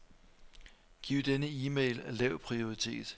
Giv denne e-mail lav prioritet.